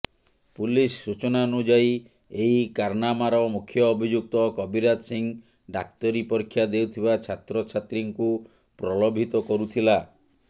police ସୂଚନାନୁଯାୟୀ ଏହି କାରନାମାର ମୁଖ୍ୟ ଅଭିଯୁକ୍ତ କବିରାଜ ସିଂହ ଡାକ୍ତରୀ ପରୀକ୍ଷା ଦେଉଥିବା ଛାତ୍ରଛାତ୍ରୀଙ୍କୁ ପ୍ରଲୋଭିତ କରୁଥିଲା